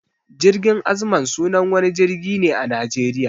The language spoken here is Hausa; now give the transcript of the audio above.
Jirgin azman sunan wani jirgin ne a Najeriya.